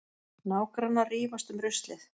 Nágrannar rífast um ruslið